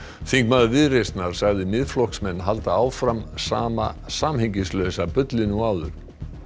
þingmaður Viðreisnar sagði Miðflokksmenn halda fram sama samhengislausa bullinu og áður